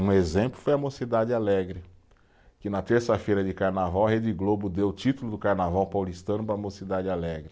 Um exemplo foi a Mocidade Alegre, que na terça-feira de carnaval, a Rede Globo deu o título do carnaval paulistano para a Mocidade Alegre.